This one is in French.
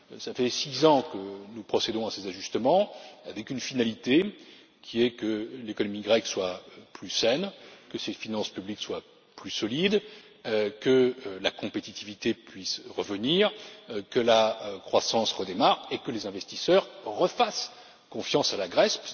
Cela fait six ans que nous procédons à ces ajustements avec une finalité qui est que l'économie grecque soit plus saine, que ses finances publiques soient plus solides, que la compétitivité puisse revenir, que la croissance redémarre et que les investisseurs refassent confiance à la Grèce.